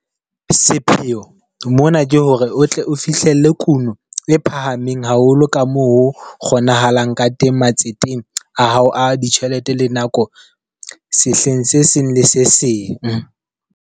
Sepheo mona ke hore o tle o fihlelle kuno e phahameng haholo ka moo ho kgonahalang ka teng matseteng a hao a ditjhelete le nako sehleng se seng le se seng.